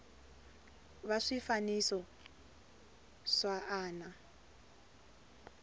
va swifaniso swa a na